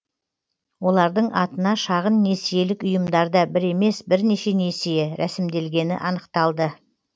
олардың атына шағын несиелік ұйымдарда бір емес бірнеше несие рәсімделгені анықталды